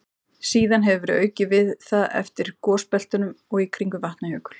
Síðan hefur verið aukið við það eftir gosbeltunum og í kringum Vatnajökul.